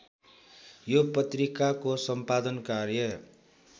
यो पत्रिकाको सम्पादन कार्य